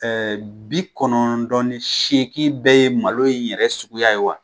Ɛɛ bi kɔnɔndɔ ni seegin bɛ ye malo in yɛrɛ suguya ye wa